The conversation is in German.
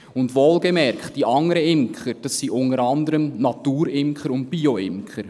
Und wohlgemerkt: Die anderen Imker, das sind unter anderem Naturimker und Bioimker.